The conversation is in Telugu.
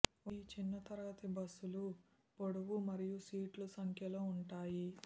ఈ చిన్న తరగతి బస్సులు పొడవు మరియు సీట్లు సంఖ్యలో ఉంటాయి